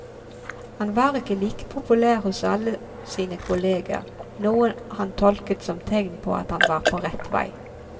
Han var ikke like populær hos alle sine kolleger, noe han tolket som tegn på at han var på rett vei.